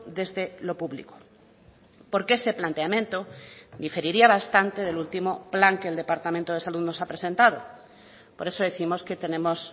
desde lo público porque ese planteamiento diferiría bastante del último plan que el departamento de salud nos ha presentado por eso décimos que tenemos